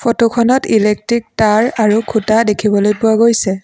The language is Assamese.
ফটোখনত ইলেকট্ৰিক তাঁৰ আৰু খুঁটা দেখিবলৈ পোৱা গৈছে।